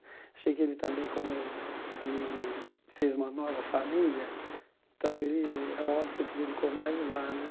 Achei que ele também, como ele fez uma nova família, então, ele é óbvio que ele se dedicou mais lá né.